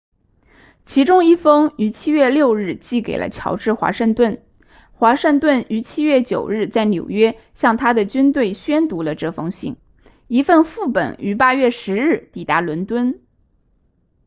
其中一封于7月6日寄给了乔治华盛顿华盛顿于7月9日在纽约向他的军队宣读了这封信一份副本于8月10日抵达伦敦